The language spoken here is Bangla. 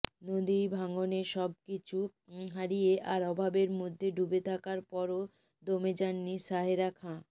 নদী ভাঙনে সব কিছু হারিয়ে আর অভাবের মধ্যে ডুবে থাকার পরও দমে যাননি সাহেরা খা